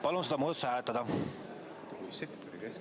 Palun seda muudatust hääletada!